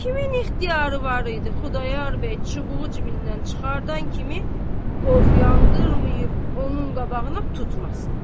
Kimin ixtiyarı var idi, Xudayar bəy çubuğu cibindən çıxardan kimi qofu yandırmayıb onun qabağına tutmasın.